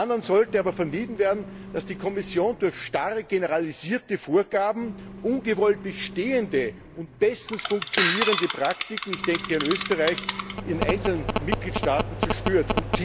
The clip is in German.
Zum anderen sollte aber vermieden werden, dass die Kommission durch starre generalisierte Vorgaben ungewollt bestehende und bestens funktionierende Praktiken ich denke an Österreich in einzelnen Mitgliedstaaten zerstört.